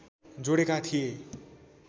जोडेका थिए